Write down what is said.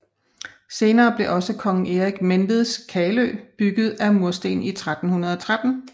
Senere blev også Kong Erik Menveds Kalø bygget af mursten i 1313